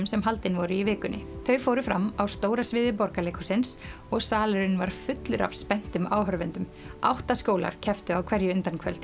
sem haldin voru í vikunni þau fóru fram á stóra sviði Borgarleikhússins og salurinn var fullur af spenntum áhorfendum átta skólar kepptu á hverju